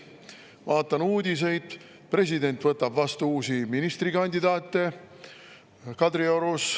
Vaatan uudiseid: president võtab Kadriorus vastu uusi ministrikandidaate.